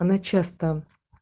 начать там